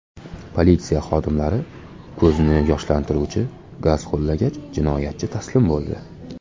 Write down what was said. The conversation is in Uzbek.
Politsiya xodimlari ko‘zni yoshlantiruvchi gaz qo‘llagach, jinoyatchi taslim bo‘ldi.